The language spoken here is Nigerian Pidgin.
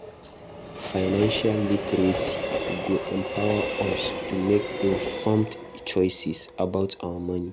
Financial literacy go empower us to make informed choices about our money.